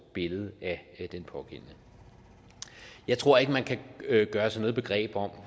billede af den pågældende jeg tror ikke man kan gøre sig noget begreb om